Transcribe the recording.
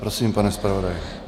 Prosím, pane zpravodaji.